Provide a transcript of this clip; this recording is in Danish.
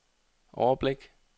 overblik